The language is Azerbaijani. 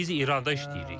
Biz İranda işləyirik.